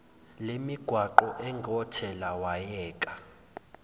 lemigwaqo engothela wayeka